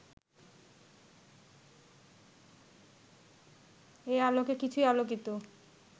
এ আলোকে কিছুই আলোকিত